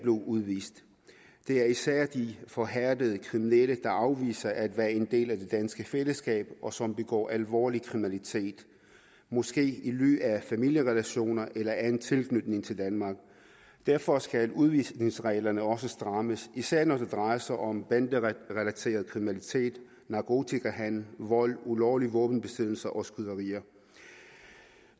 udvist det er især de forhærdede kriminelle der afviser at være en del af det danske fællesskab og som begår alvorlig kriminalitet måske i ly af familierelationer eller anden tilknytning til danmark derfor skal udvisningsreglerne også strammes især når det drejer sig om banderelateret kriminalitet narkotikahandel vold ulovlig våbenbesiddelse og skyderier